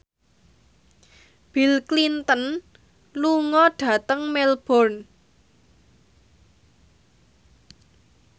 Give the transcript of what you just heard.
Bill Clinton lunga dhateng Melbourne